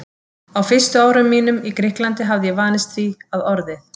Á fyrstu árum mínum í Grikklandi hafði ég vanist því, að orðið